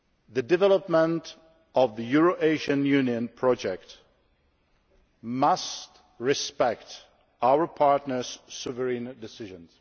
The development of the Eurasian Union project must respect our partners' sovereign decisions.